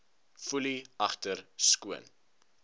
foelie agter skoon